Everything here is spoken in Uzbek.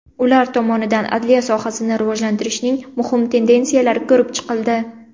Ular tomonidan adliya sohasini rivojlantirishning muhim tendensiyalari ko‘rib chiqildi.